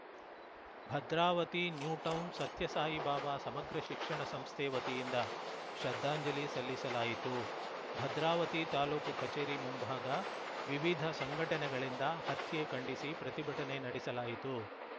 Bhadravati New Town Sathya Sai Baba ಸಮಗ್ರ ಶಿಕ್ಷಣ ಸಂಸ್ಥೆ ವತಿಯಿಂದ ಶ್ರದ್ದಾಂಜಲಿ ಸಲ್ಲಿಸಲಾಯಿತು ಭದ್ರಾವತಿ ತಾಲೂಕು ಕಚೇರಿ ಮುಂಭಾಗ ವಿವಿಧ ಸಂಘಟನೆಗಳಿಂದ ಹತ್ಯೆ ಖಂಡಿಸಿ ಪ್ರತಿಭಟನೆ ನಡೆಸಲಾಯಿತು